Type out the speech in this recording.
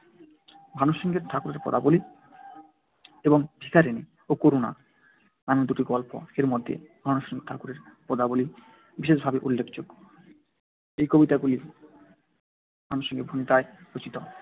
ভানুসিংহ ঠাকুরের পদাবলী এবং ভিখারিণী ও করুণা নামে দুটি গল্প। এর মধ্যে ভানুসিংহ ঠাকুরের পদাবলী বিশেষভাবে উল্লেখযোগ্য। এই কবিতাগুলি ভানুসিংহ ভণিতায় রচিত।